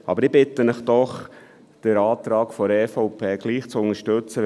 Aber ich bitte Sie doch, den Antrag der EVP trotzdem zu unterstützen.